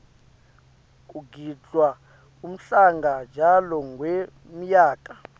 kugidvwa umhlanga njalo ngenmyaka